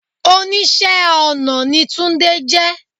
Oníṣẹ́ ọ̀nà ni túndé jẹ.